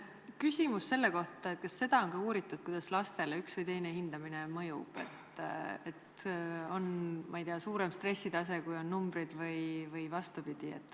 Küsimus selle kohta, et kas seda on ka uuritud, kuidas lastele üks või teine hindamine mõjub, kas on, ma ei tea, suurem stressitase, kui on numbrid või vastupidi.